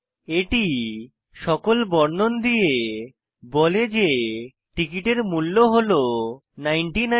এটি সকল বর্ণন দিয়ে বলে যে টিকিটের মুল্য হল 99